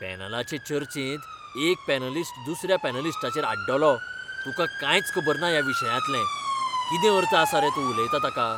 पॅनलाचे चर्चेंत एक पॅनलिस्ट दुसऱ्या पॅनलिस्टाचेर आड्डलोः "तुका कांयच खबर ना ह्या विशयांतलें. कितें अर्थ आसा रे तूं उलयता ताका?"